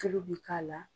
Tulu bi k'a la